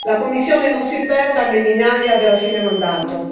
La Commissione non si perda nell'ignavia del fine mandato.